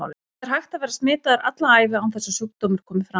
Það er hægt að vera smitaður alla ævina án þess að sjúkdómur komi fram.